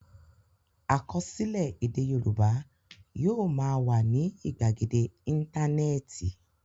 Àkọsílẹ̀ èdè Yorùbá yóò máa wà ní ìgbàgede Íńtánẹ́ẹ̀tì.